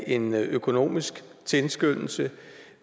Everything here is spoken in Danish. en økonomisk tilskyndelse